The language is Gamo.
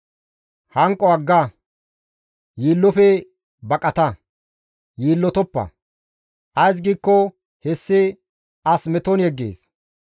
Hanqo agga; yiillofe baqata. Yiillotoppa; ays giikko hessi as meton yeggees.